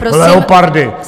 Leopardy.